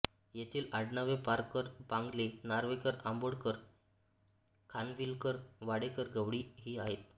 येथील आडनावे पारकर पांगले नार्वेकर आंबोळकर खानविलकर वाडेकर गवळी ही आहेत